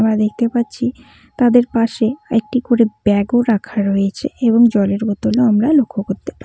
আমরা দেখতে পাচ্ছি তাদের পাশে একটি করে ব্যাগ -ও রাখা রয়েছে এবং জলের বোতল -ও আমরা লক্ষ করতে পারি।